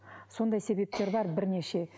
сондай себептер бар бірнеше